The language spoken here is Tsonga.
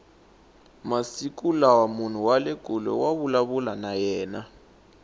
masiku lawa munhu wale kule wa vulavula na yena